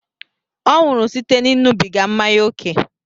Ọ nwụrụ site n'ịṅụbiga mmanya ókè